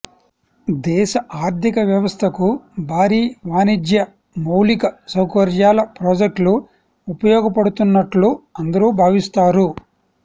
దేశ ఆర్థిక వ్యవస్థకు భారీ వాణిజ్య మౌలిక సౌకర్యాల ప్రాజెక్టులు ఉపయోగపడుతున్నట్లు అందరూ భావిస్తారు